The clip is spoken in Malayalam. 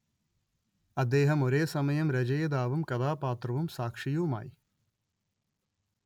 അദ്ദേഹം ഒരേസമയം രചയിതാവും കഥാപാത്രവും സാക്ഷിയുമായി